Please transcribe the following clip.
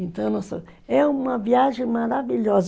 Então, é uma viagem maravilhosa.